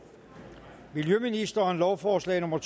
miljøministeren lovforslag nummer